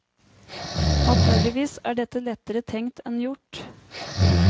Naturligvis er dette lettere tenkt enn gjort.